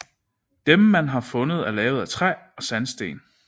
Dem man har fundet er lavet af træ og sandsten